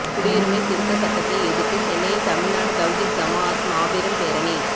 குடியுரிமை திருத்த சட்டதை எதிர்த்து சென்னையில் தமிழ்நாடு தவ்ஹீத் ஜமாஅத் மாபெரும் பேரணி